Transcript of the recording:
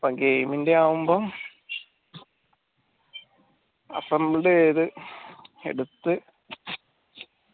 അപ്പൊ game ന്റെ ആവുമ്പം അപ്പം എട്ത്തു